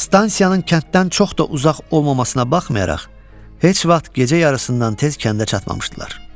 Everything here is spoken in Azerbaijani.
Stansiyanın kənddən çox da uzaq olmamasına baxmayaraq, heç vaxt gecə yarısından tez kəndə çatmamışdılar.